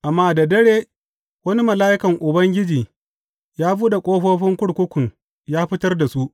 Amma da dare wani mala’ikan Ubangiji ya buɗe ƙofofin kurkukun ya fitar da su.